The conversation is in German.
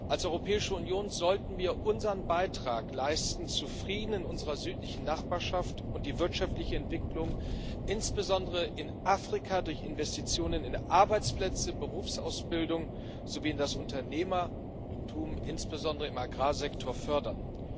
Als Europäische Union sollten wir unseren Beitrag leisten zu Frieden in unserer südlichen Nachbarschaft und die wirtschaftliche Entwicklung, insbesondere in Afrika, durch Investitionen in Arbeitsplätze, Berufsausbildung sowie in das Unternehmertum, insbesondere im Agrarsektor, fördern.